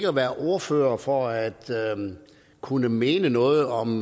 at være ordfører for at kunne mene noget om